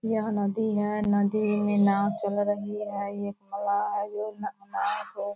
यह नदी है नदी में नाँव चल रही है ये नाला है ये